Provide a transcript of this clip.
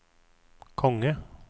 konge